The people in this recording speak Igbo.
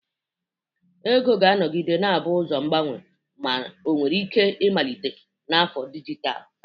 Ego ga-anọgide na-abụ ụzọ mgbanwe, ma ọ nwere ike ịmalite na afọ dijitalụ.